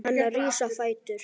Hann rís á fætur.